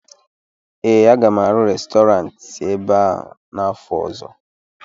ee, a ga m arụ Restọrantị ebe a n'afọ ọzọ